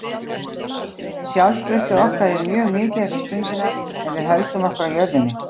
Sjálfstraustið okkar er mjög mikið þessa stundina en við höldum okkur á jörðinni.